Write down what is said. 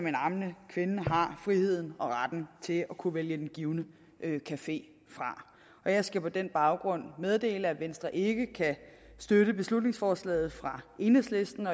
en ammende kvinde har friheden og retten til at kunne vælge den givne café fra og jeg skal på den baggrund meddele at venstre ikke kan støtte beslutningsforslaget fra enhedslisten